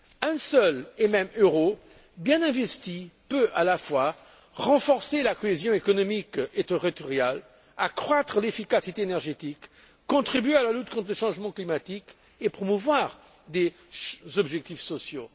Un seul et même euro, bien investi, peut à la fois renforcer la cohésion économique et territoriale, accroître l'efficacité énergétique, contribuer à la lutte contre le changement climatique et promouvoir les objectifs sociaux.